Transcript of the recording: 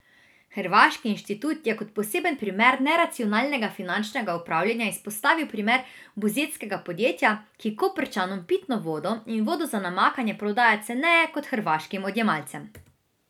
Hrvaški inštitut je kot poseben primer neracionalnega finančnega upravljanja izpostavil primer buzetskega podjetja, ki Koprčanom pitno vodo in vodo za namakanje prodaja ceneje kot hrvaškim odjemalcem.